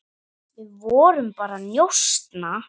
Við vorum bara að njósna,